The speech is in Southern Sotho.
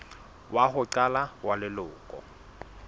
wa ho qala wa leloko